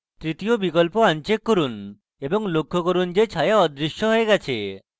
তৃতীয় বিকল্প uncheck করুন এবং লক্ষ্য করুন যে ছায়া অদৃশ্য হয়ে গেছে